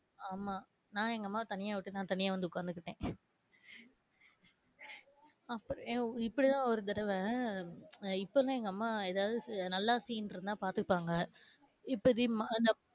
ஆம்மா நான் எங்க அம்மாவ தனியா விட்டு, நான் தனியா வந்து உக்காந்துக்கிட்டேன் ஆஹ் ஒ இப்டி தான் ஒரு தடவ ஆஹ் இப்ப தான் எங்க அம்மா எதாவது நல்லா scene இருந்தா பாத்துப்பாங்க இப்ப திமான